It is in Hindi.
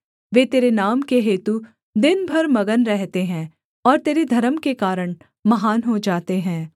वे तेरे नाम के हेतु दिन भर मगन रहते हैं और तेरे धर्म के कारण महान हो जाते हैं